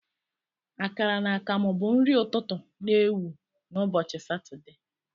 Akara na akamu bụ nri ụtụtụ na ewu na ubochi Satọde.